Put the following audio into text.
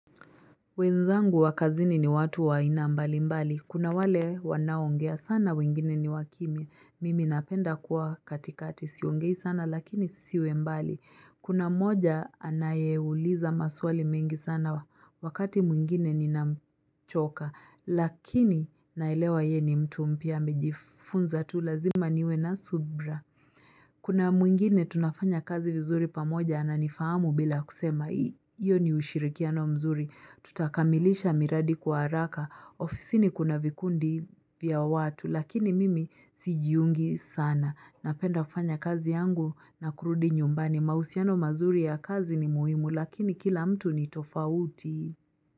Wenzangu wa kazini ni watu wa aina mbali mbali. Kuna wale wanaongea sana wengine ni wakimya Mimi napenda kuwa katikati. Siongei sana lakini siwe mbali. Kuna moja anayeuliza maswali mengi sana wakati mwingine nina mchoka. Lakini naelewa ye ni mtu mpya amejifunza tu lazima niwe na subra. Kuna mwingine tunafanya kazi vizuri pamoja ananifahamu bila kusema iyo ni ushirikiano mzuri. Tutakamilisha miradi kwa haraka. Ofisini kuna vikundi vya watu lakini mimi sijiungi sana. Napenda kufanya kazi yangu na kurudi nyumbani. Mahusiano mazuri ya kazi ni muhimu lakini kila mtu ni tofauti.